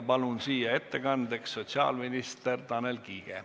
Palun siia ettekandeks sotsiaalminister Tanel Kiige.